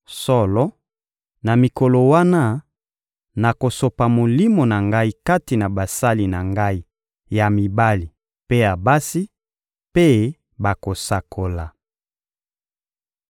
Solo, na mikolo wana, nakosopa Molimo na Ngai kati na basali na Ngai ya mibali mpe ya basi, mpe bakosakola.